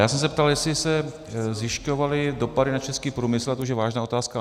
Já jsem se ptal, jestli se zjišťovaly dopady na český průmysl, a to už je vážná otázka.